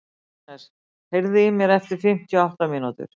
Agnes, heyrðu í mér eftir fimmtíu og átta mínútur.